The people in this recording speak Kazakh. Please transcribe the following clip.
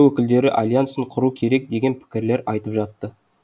өкілдері альянсын құру керек деген пікірлер айтып жатты